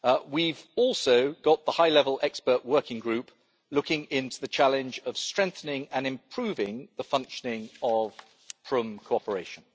We have also got the high level expert working group looking into the challenge of strengthening and improving the functioning of Prüm cooperation.